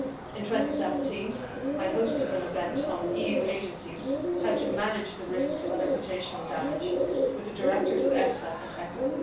In 2017 I hosted an event on EU agencies, how to manage the risk of reputational damage with the directors of EFSA and ECHA.